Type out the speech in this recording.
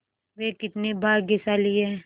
वे कितने भाग्यशाली हैं